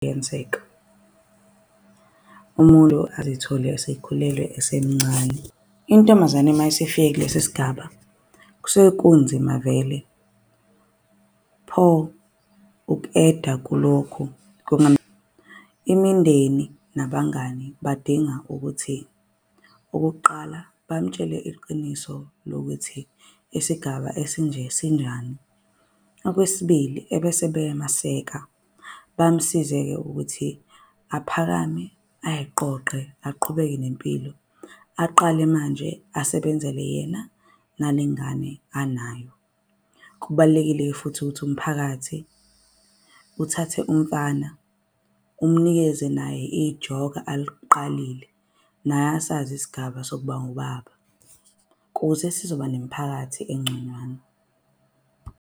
umuntu azithole esekhulelwe esemncane. Intombazane mayisifike kulesi sigaba kusuke kunzima vele, pho uku-add-a kulokhu . Imindeni nabangani badinga ukuthi, okokuqala bamtshele iqiniso lokuthi isigaba esinje sinjani. Okwesibili ebese beyamaseka bamsize-ke ukuthi aphakame ay'qoqe, aqhubeke nempilo. Aqale manje, asebenzele yena nalengane anayo. Kubalulekile-ke futhi ukuthi umphakathi uthathe umfana umnikeze naye ijoka aliqalile. Naye asazi isigaba sokuba ngubaba kuze sizoba nemiphakathi engconywana.